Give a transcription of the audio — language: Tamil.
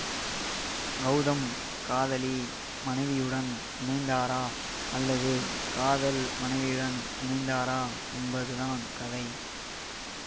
கௌதம் காதலி மனைவியுடன் இணைந்தாரா அல்லது காதல் மனைவியுடன் இணைந்தாரா என்பது தான் கதை